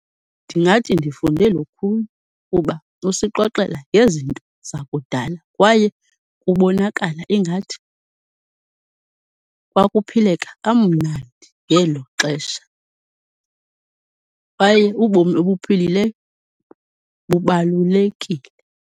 Ndingathi ndifunde lukhulu kuba usixoxela ngezinto zakudala kwaye kubonakala ingathi kwakuphileka kamnandi ngelo xesha, kwaye ubomi obuphilileyo bubalulekile.